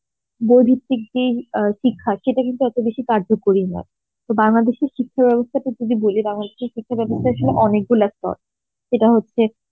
বই ভিত্তিক যেই আ শিক্ষা সেটা কিন্তু অত বেশি কার্যকরী নয় তো বাংলাদেশের শিক্ষা বেবস্থা টা বলে দেওয়া হচ্ছে শিক্ষা বেবস্থার আসলে অনেগুলো স্তর সেটা হচ্ছে